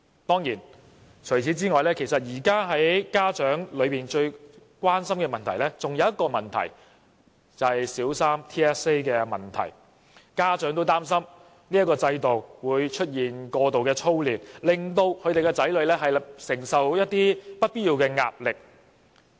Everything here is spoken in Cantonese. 當然，除此之外，現在家長最關心的還有另一個問題，就是小三的 TSA， 家長擔心這個制度會造成過度操練，令他們的子女承受不必要的壓力。